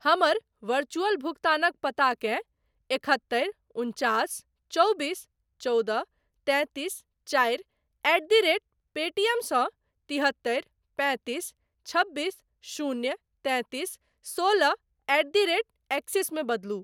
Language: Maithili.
हमर वरचुअल भुगतानक पताकेँ एकहत्तरि उनचास चौबीस चौदह तैंतीस चारि एट द रेट पेटीएम सँ तिहत्तरि पैंतीस छबीस शून्य तैंतीस सोलह एट द रेट एक्सिस मे बदलू।